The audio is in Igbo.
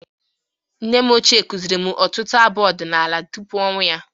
Nne m ochie kuziri m ọtụtụ abụ ọdịnala tupu ọnwụ ya.